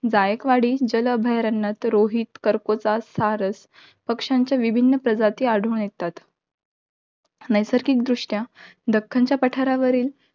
जायकवाडी, जल अभयारण्यात रोहित, करकोचा, सारस पक्षांच्या विभिन्न प्रजाती आढळून येतात. नैसर्गिकदृष्ट्या दक्खनच्या पठारावरील